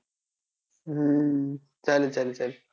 हम्म चालेल चालेल चालेल